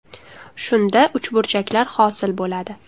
Shunda uchburchaklar hosil bo‘ladi.